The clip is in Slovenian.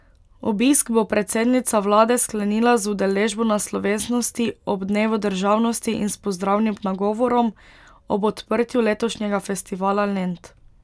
Obisk bo predsednica vlade sklenila z udeležbo na slovesnosti ob dnevu državnosti in s pozdravnim nagovorom ob odprtju letošnjega Festivala Lent.